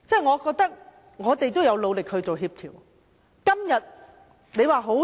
我覺得我們有努力做協調。